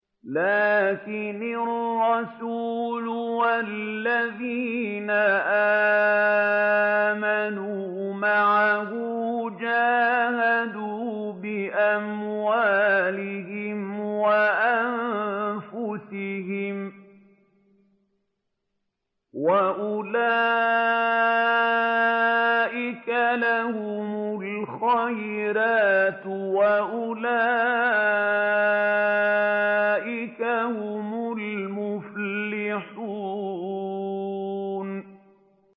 لَٰكِنِ الرَّسُولُ وَالَّذِينَ آمَنُوا مَعَهُ جَاهَدُوا بِأَمْوَالِهِمْ وَأَنفُسِهِمْ ۚ وَأُولَٰئِكَ لَهُمُ الْخَيْرَاتُ ۖ وَأُولَٰئِكَ هُمُ الْمُفْلِحُونَ